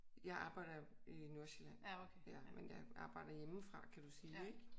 Jeg arbejder i Nordsjælland. Ja men jeg arbejder hjemmefra kan du sige ik?